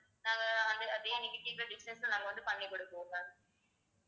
நாங்க வந்து அதே நீங்க கேக்கற design ல நாங்க வந்து பண்ணி கொடுப்போம் ma'am